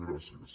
gràcies